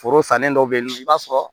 Foro sannen dɔ bɛ yen nɔ i b'a sɔrɔ